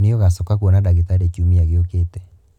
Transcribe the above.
Nĩ ũgacoka kwona ndagitarĩ kiumia gĩokĩte.